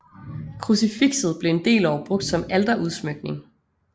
Krucifixet blev en del år brugt som alterudsmykning